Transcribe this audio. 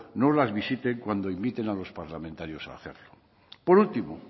nos las visiten cuando inviten a los parlamentarios a hacerlo por último